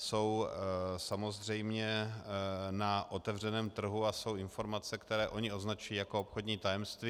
Jsou samozřejmě na otevřeném trhu a jsou informace, které oni označují jako obchodní tajemství.